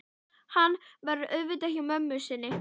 Hann verður auðvitað hjá mömmu sinni.